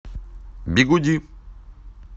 бигуди